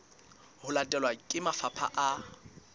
ho latelwa ke mafapha a